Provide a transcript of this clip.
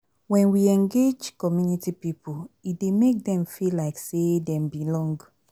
When we engage community pipo e dey make dem feel like sey dem belong